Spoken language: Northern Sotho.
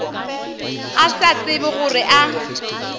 a sa tsebe gore a